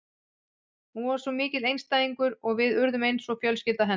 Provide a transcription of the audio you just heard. Hún var svo mikill einstæðingur og við urðum eins og fjölskylda hennar.